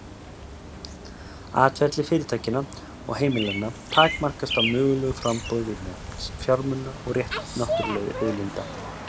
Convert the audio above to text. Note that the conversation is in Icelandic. Atferli fyrirtækjanna og heimilanna takmarkast af mögulegu framboði vinnuafls, fjármuna og náttúruauðlinda.